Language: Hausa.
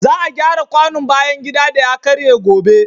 Za a gyara kwanon bayan gida da ya karye gobe.